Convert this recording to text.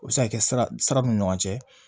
O bɛ se ka kɛ sira min ni ɲɔgɔn cɛ